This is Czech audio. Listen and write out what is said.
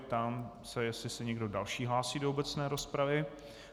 Ptám se, jestli se někdo další hlásí do obecné rozpravy.